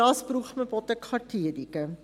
Dafür braucht man Bodenkartierungen.